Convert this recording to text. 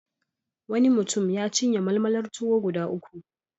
Wani mutum ya cinye malmalar tuwo guda uku.